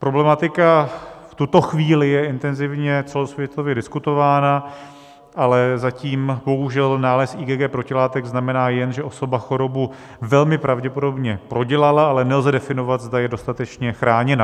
Problematika v tuto chvíli je intenzivně celosvětově diskutována, ale zatím bohužel nález IgG protilátek znamená jen, že osoba chorobu velmi pravděpodobně prodělala, ale nelze definovat, zda je dostatečně chráněna.